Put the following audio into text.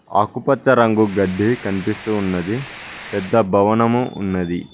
ఆకుపచ్చ రంగు గడ్డి కనిపిస్తూ ఉన్నది పెద్ద భవనము ఉన్నది.